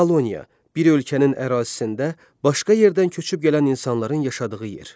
Koloniya bir ölkənin ərazisində başqa yerdən köçüb gələn insanların yaşadığı yer.